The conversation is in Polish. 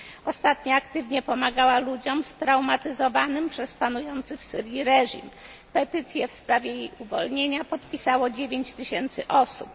Ostatnio pomagała ona aktywnie osobom straumatyzowanym przez panujący w Syrii reżim. Petycję w sprawie jej uwolnienia podpisało 9 tysięcy osób.